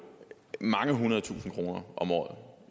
mange hundrede tusinde kroner om året